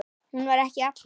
Hún var ekki allra.